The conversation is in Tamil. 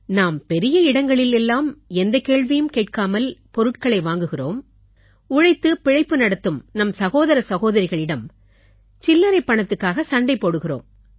நாம் பெரிய பெரிய இடங்களில் எல்லாம் எந்தக் கேள்வியும் கேட்காமல் பொருட்களை வாங்குகிறோம் உழைத்துப் பிழைப்பு நடத்தும் நம் சகோதர சகோதரிகளிடம் சில்லறைப் பணத்துக்காக சண்டை போடுகிறோம்